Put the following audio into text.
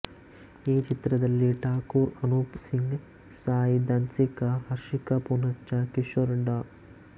ಈ ಚಿತ್ರದಲ್ಲಿ ಠಾಕೂರ್ ಅನೂಪ್ ಸಿಂಗ್ ಸಾಯಿ ಧನ್ಸಿಕಾ ಹರ್ಷಿಕಾ ಪೂನಚ್ಚ ಕಿಶೋರ್ ಡಾ